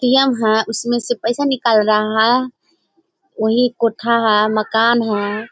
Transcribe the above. ATM. है उसमें से पैसा निकल रहा है ओहि कोठा है मकान है।